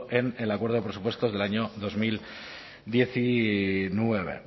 en el acuerdo de presupuestos del año dos mil diecinueve